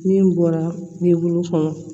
Min bɔra kɔnɔ